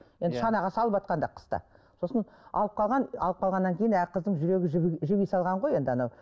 енді шанаға салыватқанда қыста сосын алып қалған алып қалғаннан кейін қыздың жүрегі жіби жіби салған ғой енді анау